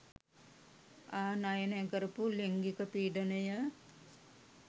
ආනයනය කරපු ලිංගික පීඩනය.